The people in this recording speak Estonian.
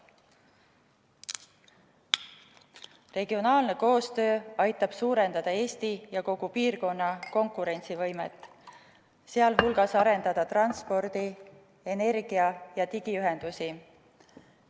Regionaalne koostöö aitab suurendada Eesti ja kogu piirkonna konkurentsivõimet, sh arendada transpordi-, energia- ja digiühendusi.